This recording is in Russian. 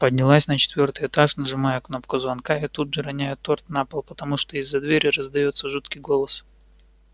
поднялась на четвёртый этаж нажимаю кнопку звонка и тут же роняю торт на пол потому что из-за двери раздаётся жуткий голос